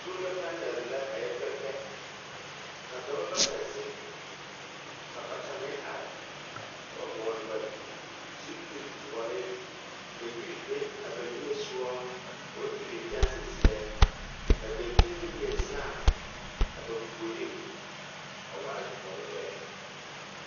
Soola panԑl la a yԑ pԑ pԑ. ka dͻbͻ bata zeŋ, ka bata meŋ are. Ka vͻgele ba zupili-dõͻre ka yiri be a ba niŋe sogͻ ka ba pileŋkyԑnse zeԑ. Ka daŋkyini meŋ leԑ saa a ba puoriŋ a waa dõͻre lԑ.